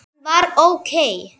Hann var ókei.